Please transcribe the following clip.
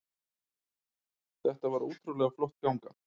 Þetta var ótrúlega flott ganga